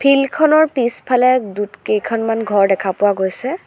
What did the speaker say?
Field খনৰ পিছফালে দূত কেইখনমান ঘৰ দেখা পোৱা গৈছে।